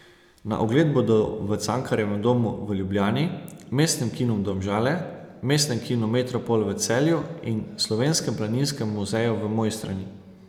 Na ogled bodo v Cankarjevem domu v Ljubljani, Mestnem kinu Domžale, Mestnem kinu Metropol v Celju in Slovenskem planinskem muzeju v Mojstrani.